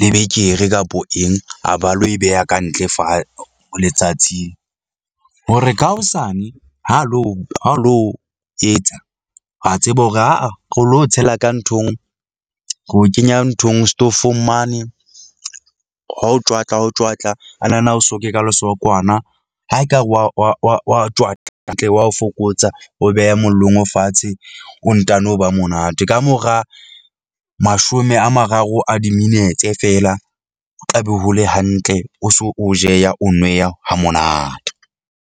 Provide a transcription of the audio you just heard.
lebekere kapa eng. A ba lo e beha ka ntle letsatsing hore ka hosane ha lo ha lo etsa ra tseba hore aa re lo o tshela ka nthong re o kenya nthong setofong mane. Ha o tjwatla ha o tjwatla a na na o soke ka lesokwana. Ha ekare wa wa wa wa o tjwatla hantle, wa ho fokotsa, o beha mollong, o fatshe, o ntano ba monate. Ka mora mashome a mararo a diminetse feela, o tla be ho le hantle, o so o jeha, o nweha ha monate.